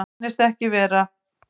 Svo reyndist ekki vera